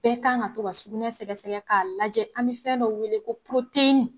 Bɛɛ kan ka to ka surunsɛ sɛgɛsɛgɛ k'a lajɛ an bɛ fɛn dɔ weele ko